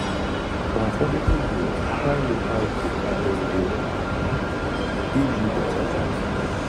for affordable meal try local bukka dem dey give you better value